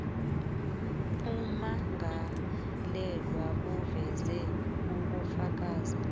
ummangalelwa aveze ubufakazi